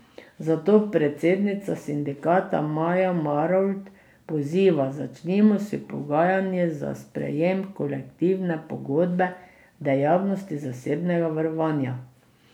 Zato predsednica sindikata Majda Marolt poziva: "Začnimo s pogajanji za sprejem kolektivne pogodbe dejavnosti zasebnega varovanja.